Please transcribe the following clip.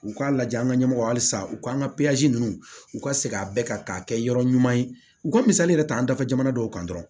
U k'a lajɛ an ka ɲɛmɔgɔ halisa u k'an ka ninnu u ka segin a bɛɛ kan k'a kɛ yɔrɔ ɲuman ye u ka misali yɛrɛ ta an dafa jamana dɔw kan dɔrɔn